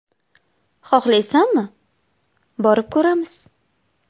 Xohlaysanmi, borib ko‘ramiz?